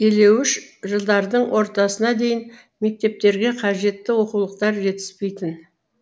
илеуіш жылдардың ортасына дейін мектептерге қажетті оқулықтар жетіспейтін